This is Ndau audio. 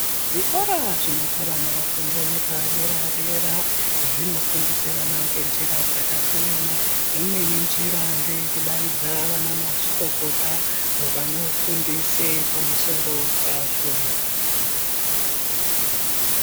Zvikora zvinopa vana fundo yepadera-dera dzinofundisa vana ngenjira dzakasiyana. Imweni njira ndeyekudaidza vanamazvikokota avo vanofundise pamusoro pazvo.